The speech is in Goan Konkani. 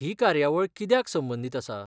ही कार्यावळ कित्याक संबंदीत आसा?